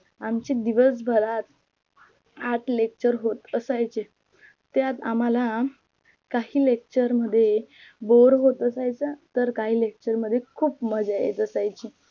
आमची दिवस भारत आठ lecture होत असायचे त्यात आम्हाल काही lecture मध्ये बोर होत असायच तर काही lecture मध्ये खूप मज्जा येत असायची